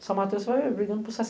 Em São Mateus, vai brigando por